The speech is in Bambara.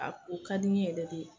A kun ka di n ye yɛrɛ de